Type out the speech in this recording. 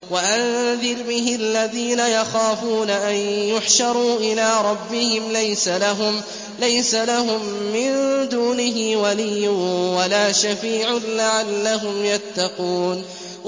وَأَنذِرْ بِهِ الَّذِينَ يَخَافُونَ أَن يُحْشَرُوا إِلَىٰ رَبِّهِمْ ۙ لَيْسَ لَهُم مِّن دُونِهِ وَلِيٌّ وَلَا شَفِيعٌ لَّعَلَّهُمْ يَتَّقُونَ